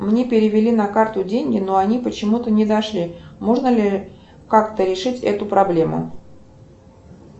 мне перевели на карту деньги но они почему то не дошли можно ли как то решить эту проблему